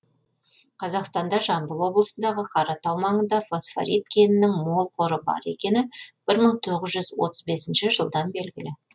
қазақстанда жамбыл облысындағы қаратау маңында фосфорит кенінің мол қоры бар екені бір мың тоғыз жүз отыз бесінші жылдан белгілі